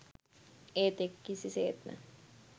ඒත් ඒක කිසි සේත්ම